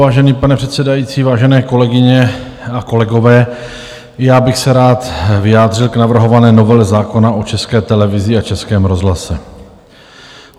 Vážený pane předsedající, vážené kolegyně a kolegové, já bych se rád vyjádřil k navrhované novele zákona o České televizi a Českém rozhlase.